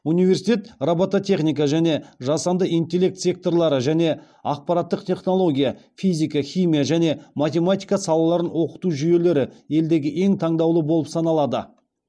университет робототехника және жасанды интеллект секторлары және ақпараттық технология физика химия және математика салаларын оқыту жүйелері елдегі ең таңдаулы болып саналады